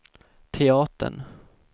teatern